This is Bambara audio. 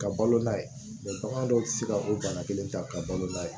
Ka balo n'a ye bagan dɔw tɛ se ka o bana kelen ta ka balo n'a ye